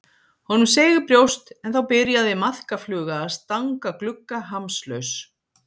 Honum seig í brjóst en þá byrjaði maðkafluga að stanga glugga, hamslaus.